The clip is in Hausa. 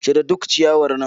Cire duk ciyawar nan.